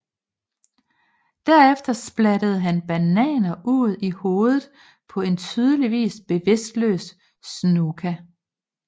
Derefter splattede han bananer ud i hovedet på en tydeligvis bevidstløs Snuka